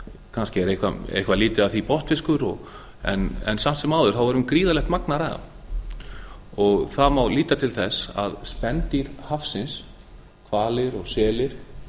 kannski er eitthvað lítið af því botnfiskur en samt sem áður er um gríðarlegt magn að ræða það má líta til þess að spendýr hafsins hvalir og selir